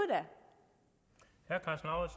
og